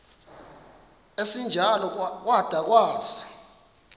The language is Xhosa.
esinjalo kwada kwasa